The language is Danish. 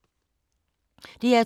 DR2